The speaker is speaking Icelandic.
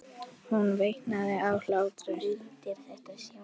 Hún veinaði af hlátri.